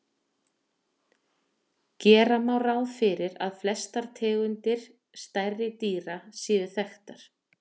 Gera má ráð fyrir að flestar tegundir stærri dýra séu þekktar.